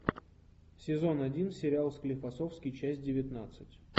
сезон один сериал склифосовский часть девятнадцать